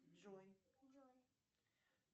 джой джой